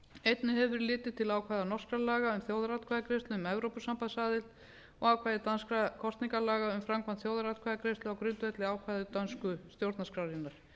einnig hefur verið litið til ákvæða norskra laga um þjóðaratkvæðagreiðslu um evrópusambandsaðild og ákvæði danskra kosningalaga um framkvæmd þjóðaratkvæðagreiðslu á grundvelli ákvæða dönsku stjórnarskrárinnar